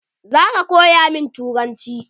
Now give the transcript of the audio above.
Zaka koya min turanci?